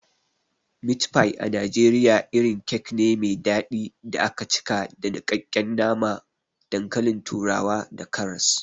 Meat pie na Najeriya irin kek ne me dadi da aka cika da nikakken nama, dankalin turawa da karas.